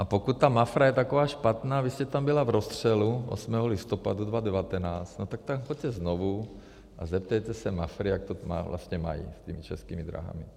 A pokud ta Mafra je taková špatná, vy jste tam byla v Rozstřelu 8. listopadu 2019, no tak tam choďte znovu a zeptejte se Mafry, jak to vlastně mají s těmi Českými drahami.